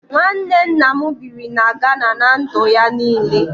Nwanne nna m biri na Gana ná ndụ ya niile